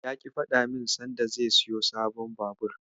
Ya ƙi ya faɗa min sanda zai siyo sabon Babur.